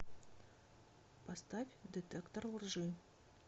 поставь детектор лжи